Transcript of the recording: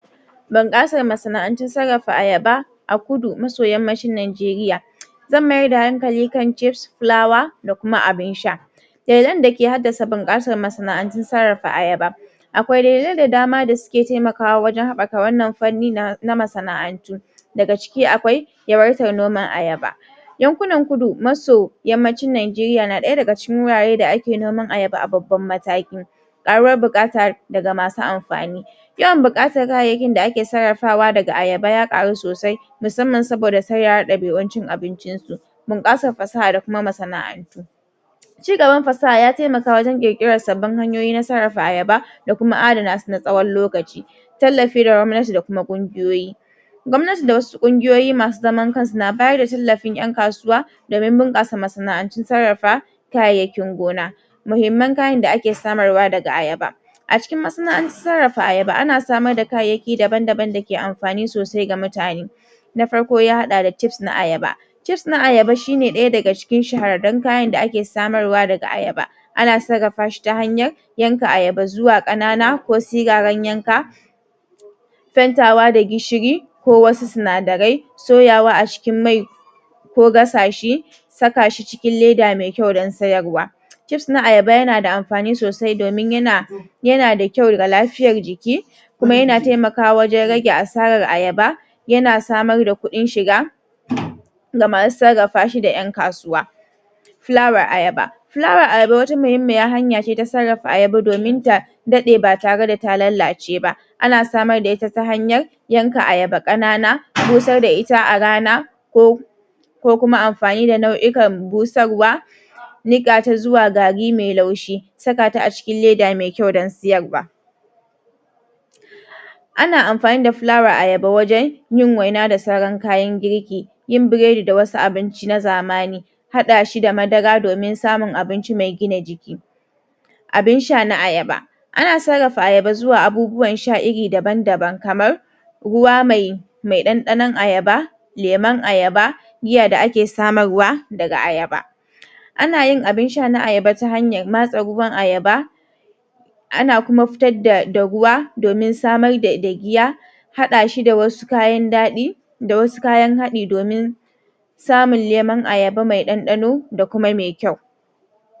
Bunƙasar masana'antun sarrafa ayaba a kudu maso yammacin Nageriya. Zan maida hankali kan cips, fulawa, da kuma abun sha. Dalilan dake haddasa bunƙasar masana'antun sarrafa ayaba akwai dalilan da dama da suke taimakawa wajen haɓɓaka wannan fanni na masana'antu. Daga ciki akwai yawaitan noman ayaba. Yankunan kudu maso yammacin Nageriya na ɗaya daga cikin wurare da ake noman ayaba a babban mataki. Ƙaruwar buƙata daga masu amfani yawan buƙatar kayayyakin da ake sarrafawa daga ayaba ya ƙaru sosai musamman saboda sauyawar ɗabi'un cin abincin su, bunƙasar sana'a da kuma masana'antu. Ci gaban fasaha ya taimaka wajen ƙirƙiran sabbin hanyoyi na sarrafa ayaba da kuma adanasu na tsawon lokaci. tallafi daga gwamnati da kuma ƙungiyoyi. Gwamnati da wasu ƙungiyoyi masu zaman kansu na bayar da tallafin ƴan kasuwa domin bunƙasa masana'antun sarrafa kayayyakin gona. Muhimman kayan da ake samar wa daga ayaba A cikin masana'antar sarrafa ayaba ana samar da kayayyaki daban-daban dake amfani sosai ga mutane. Na farko ya haɗa da cips na ayaba cips na ayaba shina ɗaya daga cikin shahararrun kayan da ake samarwa daga ayaba ana sarrafa shi ta hanyan yanka ayaba zuwa ƙanana ko siraran yanka, fentawa da gishiri, ko wasu sinadarai, soyawa a cikin mai, ko gasa shi, saka shi cikin leda mai kyau dan sayarwa. Cips na ayaba yana da amfani sosai domin yana yana da kyau ga lafiyar jiki kuma yana taimakawa wajen rage asarar ayaba yana samar da kudin shiga ga masu sarrafa shi da ƴan kasuwa. Fulawar ayaba fulawar ayaba wata muhimmiyar hanya ce ta sarrafa ayaba domin ta daɗe ba tare da ta lallace ba ana samar da ita ta hanyar yanka ayaba ƙanana busar da ita a rana ko ko kuma amfani da nau'ikan busarwa niƙata zuwa gari mai laushi. sakata a cikin leda mai kyau dan siyarwa. Ana amfani da fulawar ayaba wajen yin waina da sauran kayan girki yin biredi da wasu abinci na zamani. Haɗa shi da madara domin samun abinci mai gina jiki. Abin sha na ayaba ana sarrafa ayaba zuwa abubuwan sha iri daban-daban kamar, ruwa mai mai ɗanɗanon ayaba, lemon ayaba, miya da ake samarwa, daga ayaba. Anayin abun sha na ayaba ta hanyar matse ruwan ayaba ana kuma fitar da ruwa domin samar da dagiya haɗa shi da wasu kayan daɗi da wasu kayan haɗi domin samun lemun ayaba mai ɗanɗano da kuma mai kyau.